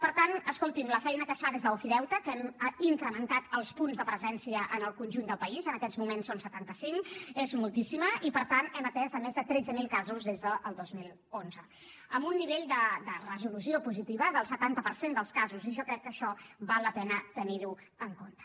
per tant escolti’m la feina que es fa des d’ofideute que n’hem incrementat els punts de presència en el conjunt del país en aquests moments en són setanta cinc és moltíssima i per tant hem atès més de tretze mil casos des del dos mil onze amb un nivell de resolució positiva del setanta per cent dels casos i jo crec que això val la pena tenir ho en compte